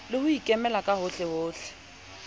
le ho ikemela ka hohlehohle